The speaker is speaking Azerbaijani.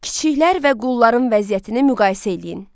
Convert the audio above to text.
Kiçiklər və qulların vəziyyətini müqayisə eləyin.